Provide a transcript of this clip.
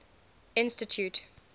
institute